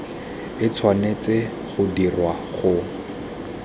e tshwanetse go dirwa go